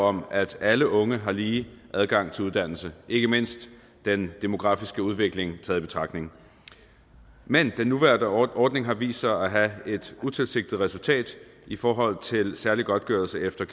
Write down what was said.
om at alle unge har lige adgang til uddannelse ikke mindst den demografiske udvikling taget i betragtning men den nuværende ordning har vist sig at have et utilsigtet resultat i forhold til særlig godtgørelse efter